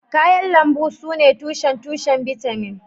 Kayan lambu sune tushen tushen bitamin